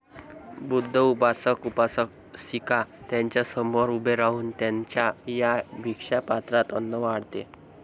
बुद्ध उपासक उपासिका त्यांच्यासमोर उभे राहून त्यांच्या या भीक्षा पात्रात अन्न वाढत